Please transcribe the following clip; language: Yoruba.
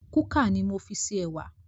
Kúkà ni mo fi ṣe ẹwà